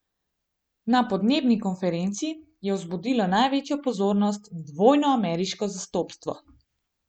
Na podnebni konferenci je vzbudilo največjo pozornost dvojno ameriško zastopstvo.